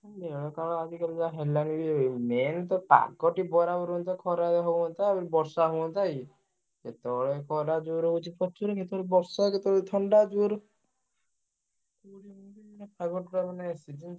ହୁଁ ଦେହ କାଳ ଆଜିକାଲି ଯାହା ହେଲାଣି ବି ଏବେ main ତ ପାଗ ଟିକେ ବରାବର ରହନ୍ତା। ଖରା ହୁଅନ୍ତା, ବର୍ଷା ହୁଅନ୍ତା ଏଇ କେତବେଳେ ଖରା ଜୋରେ ହଉଛି ପ୍ରଚୁର କେତବେଳେ ବର୍ଷା କେତବେଳେ ଥଣ୍ଡା ଜୋରେ ହଉଛି ଏମିତି ପାଗ total ମାନେ season ।